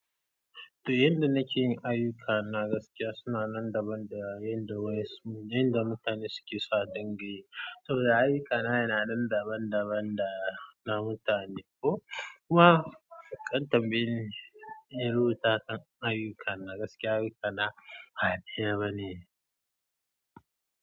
Da yadda nake yin ayyukana na gaskiya suna nan daban da yadda wayansu, yadda mutane suke sa dinga yi. Saboda ayyukana yana nan daban-daban da na mutane ko kuma kantam baye ni, yi rubuta kan ayyuka na gaskiya ayyukana a duba ne.